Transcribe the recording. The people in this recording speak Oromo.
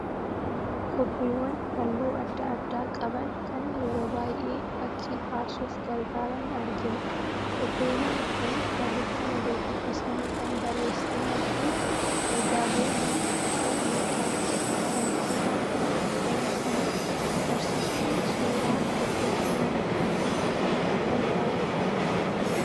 Kobbeewwan halluu adda addaa qaban kan yeroo baay'ee fakkii kaasuuf gargaaran argina. Kobbeewwan kun barreeffama gurguddisanii kan barreessanii fi ergaalee mana barnootaatti barattootaan kan dabarsanidha. Barsiisonni suuraa kobbee kanaan akka kaafaman barbaadu.